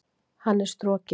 Hann er strokinn.